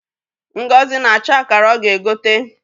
Ngozi na-achọ akara ọ ga-egote.